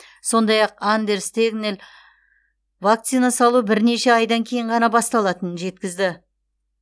сондай ақ андерс тегнел вакцина салу бірнеше айдан кейін ғана басталатынын жеткізді